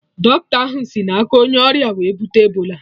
Dọkịta ahụ sị na aka onye ọrịa wee bute Ebola